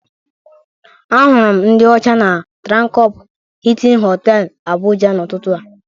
Ahụrụ m ndị ọcha na Trankọpụ Hịịtịn Họtelụ, Abụja, n'ụtụtụ a.